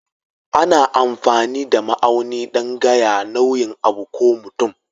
Ana amfani da ma'auni dan gaya nauyin abu ko mutum.